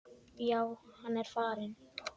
Já, hann er farinn